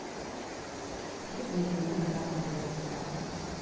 сөйтіп екеуіне бір тамақ береді екен дағыны